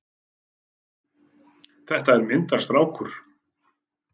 Þetta er myndarstrákur!